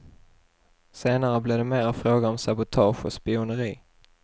Senare blev det mera fråga om sabotage och spioneri.